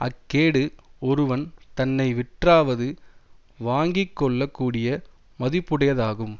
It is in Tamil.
அக்கேடு ஒருவன் தன்னை விற்றாவது வாங்கி கொள்ள கூடிய மதிப்புடையதாகும்